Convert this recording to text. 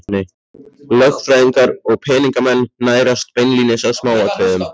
Lögfræðingar og peningamenn nærast beinlínis á smáatriðum